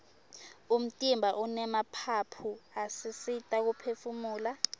umtimba unemaphaphu asisita kuphefumula